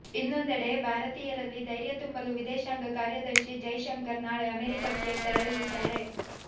ಇನ್ನೊಂದೆಡೆ ಭಾರತೀಯರಲ್ಲಿ ಧೈರ್ಯ ತುಂಬಲು ವಿದೇಶಾಂಗ ಕಾರ್ಯದರ್ಶಿ ಜೈಶಂಕರ್ ನಾಳೆ ಅಮೆರಿಕಕ್ಕೆ ತೆರಳಲಿದ್ದಾರೆ